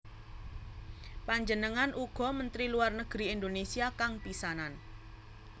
Panjenengan uga Menteri Luar Negeri Indonésia kang pisanan